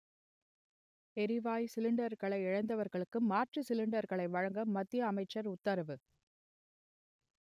எரிவாயு சிலிண்டரை இழந்தவர்களுக்கு மாற்று சிலிண்டர்களை வழங்க மத்திய அமைச்சர் உத்தரவு